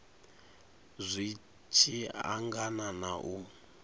zwi tshi angana na u